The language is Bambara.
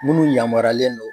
Munnu yamaruyalen do.